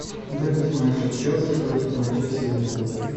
запись матча челси против манчестер юнайтед